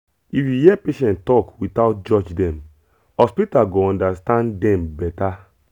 if you hear patient talk without judge dem hospital go understand dem better